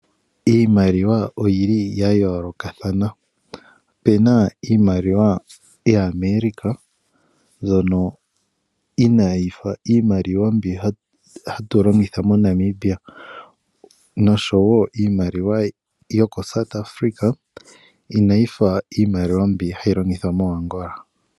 Iimaliwa oyili yayoolokathana opena iimaliwa yaAmerica mbyono inaayifa iimaliwa mbyoka hatu longitha moNamibia nosho woo iimaliwa yokoSouth Afrika inayifa iimaliwa mbi hayi longithwa moAngola.